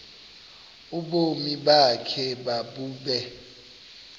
ubomi bakho mabube